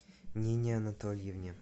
нине анатольевне